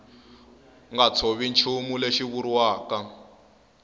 nga tshovi nchumu lexi vuriwaka